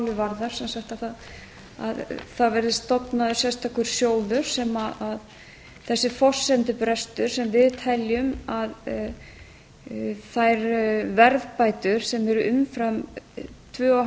lausn vandans allir sem málið varðar það verði stofnaður sérstakur sjóður sem þessi forsendubrestur sem við teljum að þær verðbætur sem eru umfram tvö og